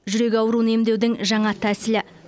жүрек ауруын емдеудің жаңа тәсілі